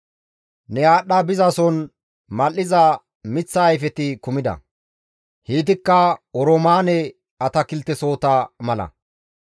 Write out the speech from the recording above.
Ne aadhdha bizason mal7iza miththa ayfeti kumida; heytikka oroomaane atakiltesohota mala.